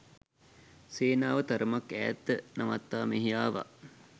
සේනාව තරමක් ඈත නවත්වා මෙහි ආවා